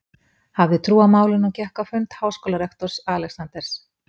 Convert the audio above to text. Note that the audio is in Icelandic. hafði trú á málinu og gekk á fund háskólarektors, Alexanders